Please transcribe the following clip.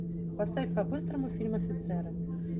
поставь по быстрому фильм офицеры